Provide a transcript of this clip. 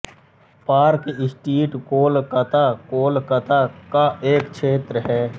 park Street Kolkata Kolkata का एक क्षेत्र है